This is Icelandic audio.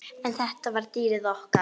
En þetta var dýrið okkar.